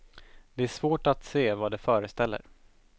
Det är svårt att se vad det föreställer.